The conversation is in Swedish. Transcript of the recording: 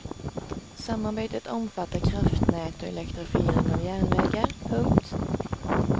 Samarbetet omfattar kraftnät och elektrifiering av järnvägar. punkt